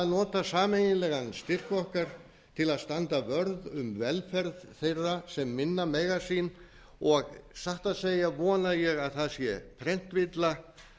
nota sameiginlegan styrk okkar til að standa vörð um velferð þeirra sem minna mega sín og satt að segja vona ég að það sé prentvilla